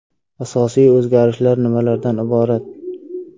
Asosiy o‘zgarishlar nimalardan iborat?